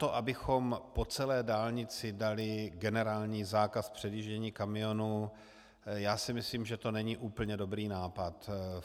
To, abychom po celé dálnici dali generální zákaz předjíždění kamionů - já si myslím, že to není úplně dobrý nápad.